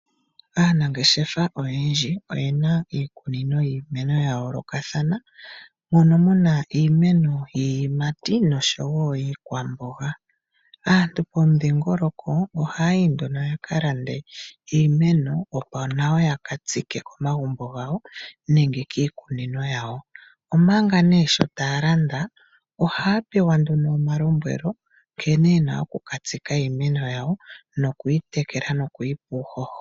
Aanangeshefa oyendji oyena iikunino yiimeno ya yoolokathana, mono muna iimeno yiiyimati noshowo yiikwamboga. Aantu pomudhingoloko ohaya yi nduno ya ka lande iimeno, opo nawo yaka tsike komagumbo gawo nenge kiikunino yawo. Omanga nee sho taya landa, ohaya pewa nduno omalombwelo nkene yena oku ka tsika iimeno yawo, nokuyi tekela nokuyipa uuhoho.